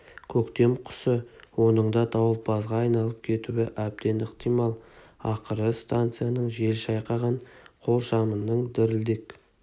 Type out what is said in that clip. көктем құсы оның да дауылпазға айланып кетуі әбден ықтимал ақыры станцияның жел шайқаған қолшамының дірілдек